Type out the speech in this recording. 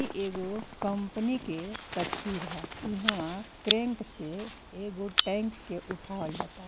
ई एगो कंपनी के तस्वीर ह। इहवा क्रेंक से एगो टेंक के उठावल जाता।